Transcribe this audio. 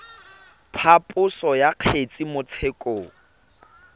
phaposo ya kgetse mo tshekong